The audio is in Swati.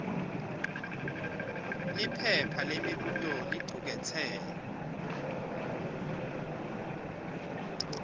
liphepha lemibuto licuketse